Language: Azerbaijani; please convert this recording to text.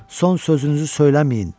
Son sözünüzü söyləməyin.